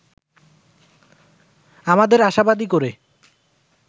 আমাদের আশাবাদী করে